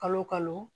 Kalo o kalo